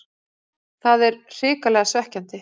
Það er hrikalega svekkjandi.